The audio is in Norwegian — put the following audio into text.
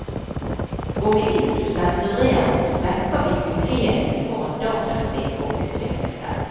Går vi ut og sensurerer, svekker vi mulighetene for at dataspill får utvikle seg.